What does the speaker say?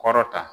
Kɔrɔ ta